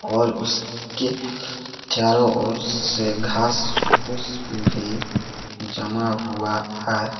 और उसके चारों ओर से घास फूस भी जमा हुआ है।